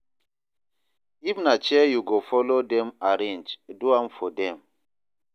if na chair yu go follow dem arrange, do am for dem